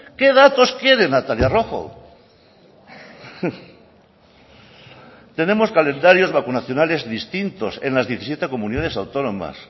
qué datos quiere natalia rojo tenemos calendarios vacunacionales distintos en las diecisiete comunidades autónomas